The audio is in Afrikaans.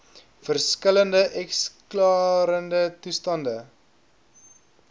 verskillende eskalerende toestande